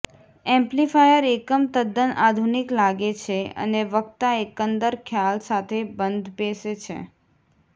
amplifier એકમ તદ્દન આધુનિક લાગે છે અને વક્તા એકંદર ખ્યાલ સાથે બંધબેસે છે